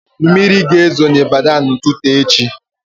Mmiri ga-ezi na Abịjan na ụtụtụ echi